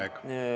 Aeg!